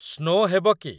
Snow ହେବ କି?